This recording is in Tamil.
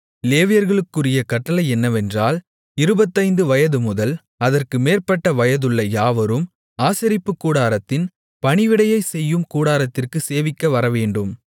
லேவியர்களுக்குரிய கட்டளை என்னவென்றால் இருபத்தைந்து வயதுமுதல் அதற்கு மேற்பட்ட வயதுள்ள யாவரும் ஆசரிப்புக்கூடாரத்தின் பணிவிடையைச் செய்யும் கூட்டத்திற்கு சேவிக்க வரவேண்டும்